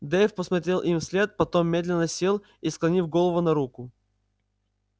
дейв посмотрел им вслед потом медленно сел и склонил голову на руку